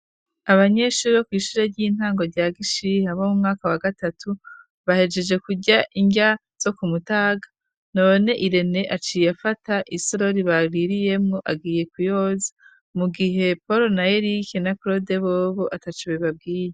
abanyeshuri bo ku ishure ry'intango rya gishihe bo mu mwaka wa gatatu bahejeje kujya injya zo ku mutaga none irene aciye afata isororibaririyemu agiye ku yoz mu gihe poro na erik na krode bob atacube babwiye